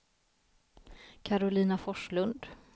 Karolina Forslund